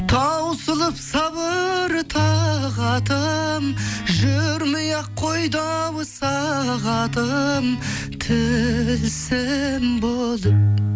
таусылып сабыр тағатын жүрмей ақ қойды ау сағатым тілсім болып